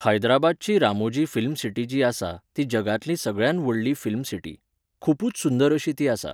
हैद्राबादची Ramoji film city जी आसा, ती जगांतली सगळ्यात व्हडली फिल्म सिटी. खुपुच सुंदर अशी ती आसा.